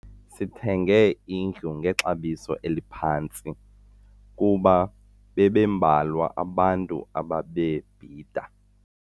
Sithenge indlu ngexabiso eliphantsi kuba bebembalwa abantu ababebhida.